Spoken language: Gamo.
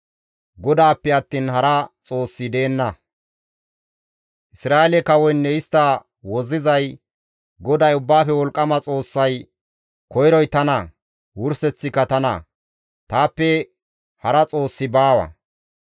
Isra7eele kawoynne istta wozzizay, GODAY Ubbaafe Wolqqama Xoossay, «Koyroy tana; wurseththika tana. Taappe hara Xoossi baawa.